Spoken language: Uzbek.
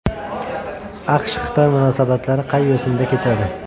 AQShXitoy munosabatlari qay yo‘sinda ketadi?